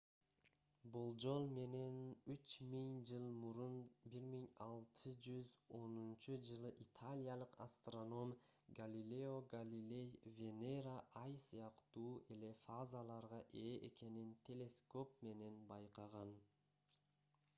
болжол менен үч миң жыл мурун 1610-жылы италиялык астроном галилео галилей венера ай сыяктуу эле фазаларга ээ экенин телескоп менен байкаган